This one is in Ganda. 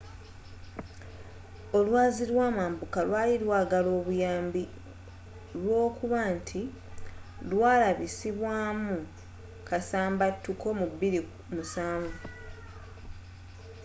olwazi lwamambuka lwali lwagala obuyambi olwokubanti lwalabisibwa mu kasambatuko mu 2007